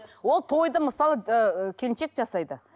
ол тойды мысалы ы келіншек жасайды